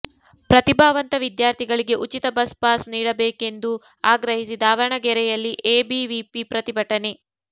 ಪ್ರತಿಭಾವಂತ ವಿದ್ಯಾರ್ಥಿಗಳಿಗೆ ಉಚಿತ ಬಸ್ ಪಾಸ್ ನೀಡಬೇಕೆಂದು ಆಗ್ರಹಿಸಿ ದಾವಣಗೆರೆಯಲ್ಲಿ ಎಬಿವಿಪಿ ಪ್ರತಿಭಟನೆ